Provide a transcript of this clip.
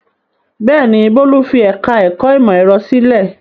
Bẹ́ẹ̀ ni, Bólú fi ẹ̀ka-ẹ̀kọ́ ìmọ̀-ẹ̀rọ sílẹ̀.